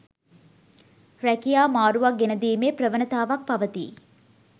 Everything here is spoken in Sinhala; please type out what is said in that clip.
රැකියා මාරුවක් ගෙනදීමේ ප්‍රවණතාවක් පවතී.